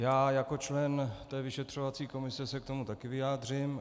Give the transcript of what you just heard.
Já jako člen té vyšetřovací komise se k tomu také vyjádřím.